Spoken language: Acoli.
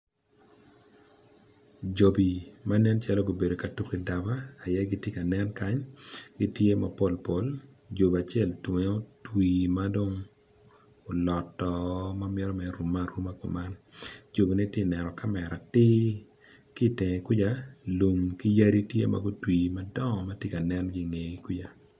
Jobi manen calo gubedo ka tuku i daba aye gitye ka nen kany gitye mapol pol jobi tunge otwi madong oloto mamito mere rume aruma kuman jobine tye ka neno kamera atir ki tenge kwica lum ki yadi tye ma gutwi madongo magitye ka nenki ngegi kwica.